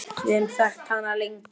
Við höfum þekkt hann lengi.